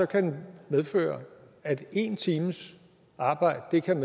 kan medføre at en times arbejde kan